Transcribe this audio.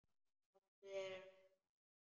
Komdu þér af stað, maður!